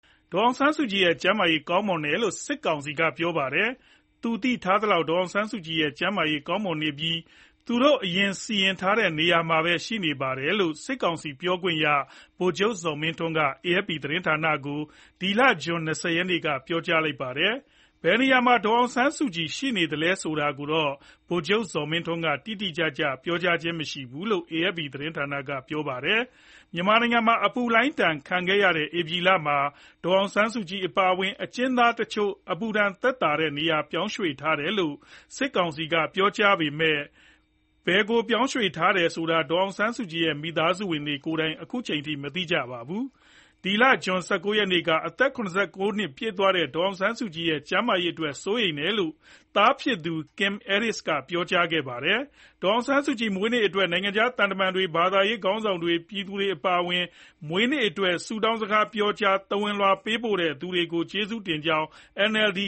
ဒေါ်အောင်ဆန်းစုကြည်ရဲ့ ကျန်းမာရေးကောင်းမွန်တယ်လို့ စစ်ကောင်စီက ပြောကြားပါတယ်။ သူသိထားသလောက် ဒေါ်အောင်ဆန်းစုကြည်ရဲ့ ကျန်းမာရေး ကောင်းမွန်နေပြီး သူတို့အရင်စီစဉ်ထားရှိတဲ့ နေရာမှာပဲ ရှိနေပါတယ်လို့ စစ်ကောင်စီပြောခွင့်ရ ဗိုလ်ချုပ်ဇော်မင်းထွန်းက AFP သတင်းဌာနကို ဇွန်လ ၂၀ ရက်က ပြောကြားခဲ့တာဖြစ်ပါတယ်။ ဘယ်နေရာမှာ ဒေါ်အောင်ဆန်းစုကြည်ရှိနေသလဲဆိုတာတော့ ဗိုလ်ချုပ်ဇော်မင်းထွန်းက တိတိကျကျ မပြောဘူးလို့ AFP သတင်းကဆိုပါတယ်။ မြန်မာနိုင်ငံမှာ အပူလှိုင်းဒဏ် ခံခဲ့ရတဲ့ ဧပြီလမှာ ဒေါ်အောင်ဆန်းစုကြည်အပါအဝင် အကျဉ်းသားတချို့ကို အပူဒဏ်ခံနိုင်အောင် နေရာပြောင်းရွှေ့ထားတယ်လို့ စစ်ကောင်စီက ပြောခဲ့ပေမဲ့ ဘယ်ကိုပြောင်းရွှေ့ထားသလဲဆိုတာ ဒေါ်ဆောင်ဆန်းစုကြည်ရဲ့ မိသားစုဝင်တွေကိုယ်တိုင် ခုချိန်ထိ မသိရှိကြရပါဘူး။ ဇွန်လ ၁၉ ရက်နေ့က အသက် ၇၉ နှစ်ပြည့်သွားတဲ့ ဒေါ်အောင်ဆန်းစုကြည်ရဲ့ ကျန်းမာရေးအတွက် စိုးရိမ်တယ်လို့ သားဖြစ်သူ Kim Aris ကပြောကြားခဲ့ပါတယ်။ ဒေါ်အောင်ဆန်းစုကြည်မွေးနေ့အတွက် နိုင်ငံခြားသံတမန်တွေ၊ ဘာသာရေးခေါင်းဆောင်တွေ၊ ပြည်သူတွေအပါအဝင် မွေးနေ့အတွက် ဆုတောင်းစကားပြောကြား၊ သဝဏ်လွှာပေးပို့ မွေးနေ့ အမှတ်တရပွဲတွေ ကျင်းပခဲ့ကြတဲ့အပေါ် ကျေးဇူးတင်ကြောင်း NLD